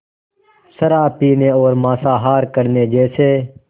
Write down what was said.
शराब पीने और मांसाहार करने जैसे